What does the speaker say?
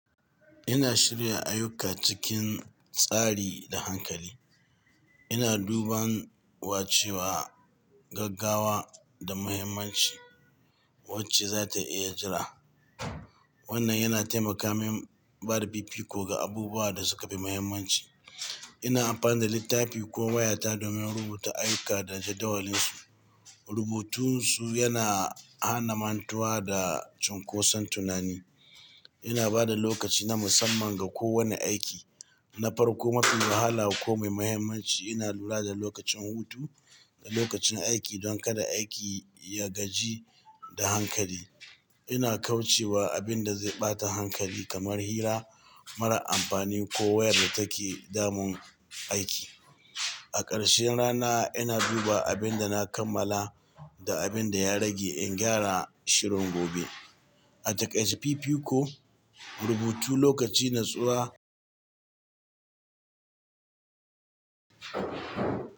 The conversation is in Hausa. Ina shirya ayuka cikin tsari da hankali. Ina duban wa cewa gaggawa da muhimmanci wacce za ta iya jira. Wannan yana taimaka min bada fifiko ga abubuwan da suka fi muhimmanci. Ina amfani da littafi ko wayata domin rubuta ayuka da jadawalinsu. Rubutun su yana hana mantuwa da cunkoson tunani. Ina ba da lokaci na musamman ga kowane aiki, na farko mafi wahala ko mai muhimmanci. Ina lura da lokacin hutu da lokacin aiki don kada aiki ya gaji da hankali. Ina kauce wa abin da zai ɓata hankali kamar hira mara amfani ko wayar da take damun aiki. A ƙarshen rana, ina duba abin da na kammala da abin da ya rage in gyara shirin gobe. A takaice fifiko, rubutu lokaci, natsuwa.